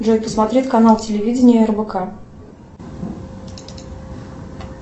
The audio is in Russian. джой посмотреть канал телевидения рбк